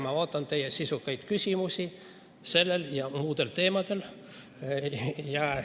Ma ootan teie sisukaid küsimusi sellel ja muudel teemadel.